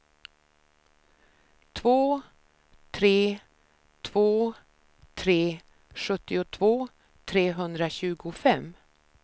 två tre två tre sjuttiotvå trehundratjugofem